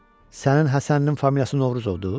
Sənin Həsəninin familiyası Novruzovdur?